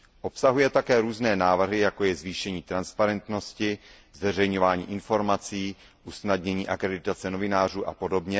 Obsahuje také různé návrhy, jako je zvýšení transparentnosti, zveřejňování informací, usnadnění akreditace novinářů apod.,